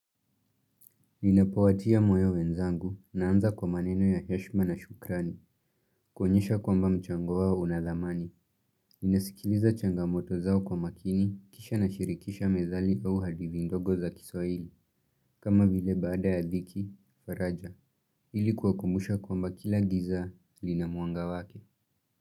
Ninapowatia moyo wenzangu naanza kwa maneno ya heshima na shukrani. Kuonyesha kwamba mchango wao una thamani. Ninasikiliza changamoto zao kwa makini kisha nashirikisha methali au hadithi ndogo za kiswahili. Kama vile baada ya dhiki, faraja. Ili kuwakumbusha kwamba kila giza lina mwanga wake.